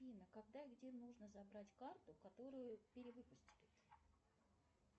афина когда и где нужно забрать карту которую перевыпустили